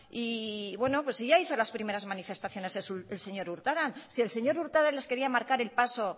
pues sí ya hizo las primeras manifestaciones el señor urtaran si el señor urtaran les quería marcar el paso